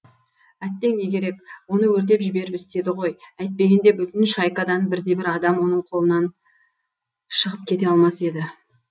әттең не керек оны өртеп жіберіп істеді ғой әйтпегенде бүтін шайкадан бірде бір адам оның қолынан шығып кете алмас еді